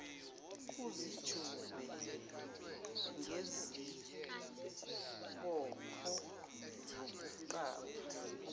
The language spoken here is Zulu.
uzijube ngesibopho sokuqapha